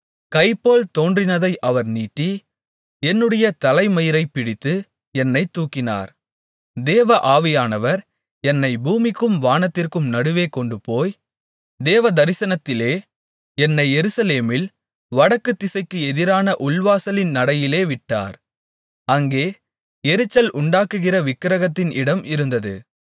கைபோல் தோன்றினதை அவர் நீட்டி என்னுடைய தலைமயிரைப் பிடித்து என்னைத் தூக்கினார் தேவ ஆவியானவர் என்னைப் பூமிக்கும் வானத்திற்கும் நடுவே கொண்டுபோய் தேவதரிசனத்திலே என்னை எருசலேமில் வடக்குதிசைக்கு எதிரான உள்வாசலின் நடையிலே விட்டார் அங்கே எரிச்சல் உண்டாக்குகிற விக்கிரகத்தின் இடம் இருந்தது